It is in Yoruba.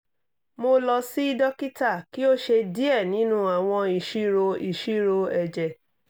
mo lọ si dokita ki o ṣe diẹ ninu awọn iṣiro iṣiro ẹjẹ